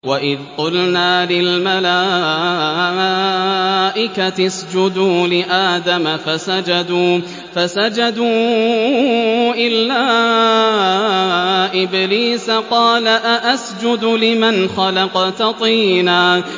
وَإِذْ قُلْنَا لِلْمَلَائِكَةِ اسْجُدُوا لِآدَمَ فَسَجَدُوا إِلَّا إِبْلِيسَ قَالَ أَأَسْجُدُ لِمَنْ خَلَقْتَ طِينًا